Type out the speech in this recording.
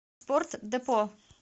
спортдепо